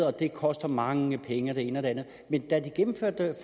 og det koster mange penge og det ene og det andet men da vi gennemførte det